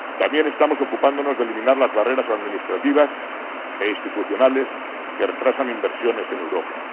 También estamos ocupándonos de eliminar las barreras administrativas e institucionales que retrasan inversiones en Europa.